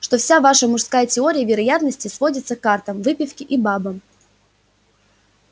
что вся ваша мужская теория вероятности сводится к картам выпивке и бабам